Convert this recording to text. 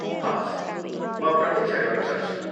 हवस्। म प्रतिक्षा गर्न सक्छु।